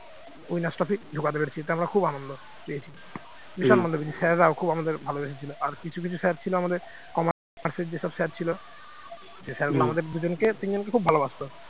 খুব আনন্দ পেয়েছি, sir রাও আমাদের খুব ভালোবেসেছিল আর কিছু কিছু sir ছিল আমাদের commerce র যেসব sir ছিল যে sir গুলো আমাদের দুজনকে তিনজনকে খুব ভালোবাসতো